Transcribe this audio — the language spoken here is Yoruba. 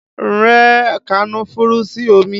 Rẹ kànnáfùrù sí omi!